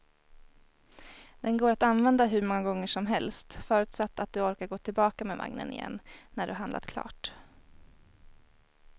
Den går att använda hur många gånger som helst, förutsatt att du orkar gå tillbaka med vagnen igen när du har handlat klart.